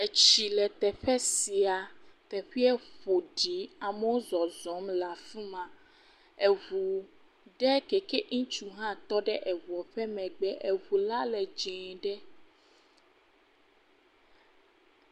Tsi le teƒe sia. Teƒea ƒo ɖi. Amewo zɔzɔm le afi ma. Ŋu aɖe si ŋutsu ɖe hã tɔ ɖe ŋua ƒe megbe. Ŋu la le dzɛ̃e ɖe.